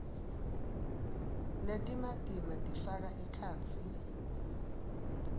letimatima tifaka ekhatsi